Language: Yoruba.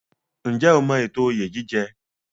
Ǹjẹ́ o mọ ètò oyè jíjẹ?